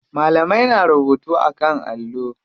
Malamai na rubutu a kan allo.